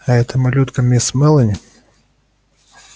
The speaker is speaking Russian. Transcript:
а эта малютка мисс мелани